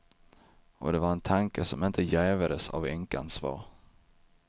Och det var en tanke som inte jävades av änkans svar.